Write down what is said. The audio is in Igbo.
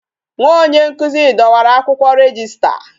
Nwa onye nkụzi dọwara akwụkwọ rejista